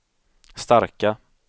starka